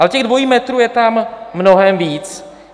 Ale těch dvojích metrů je tam mnohem víc.